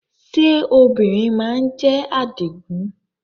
Ṣé obìnrin má ń jẹ́ Àdìgún?